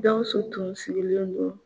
Gawusu tun sigilen don